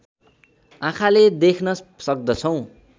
आँखाले देख्न सक्दछौँ